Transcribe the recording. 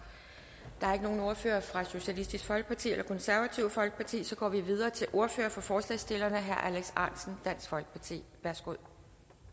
der er ikke nogen ordfører fra socialistisk folkeparti og det konservative folkeparti og så går vi videre til ordføreren for forslagsstillerne herre alex ahrendtsen dansk folkeparti værsgo